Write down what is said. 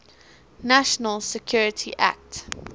national security act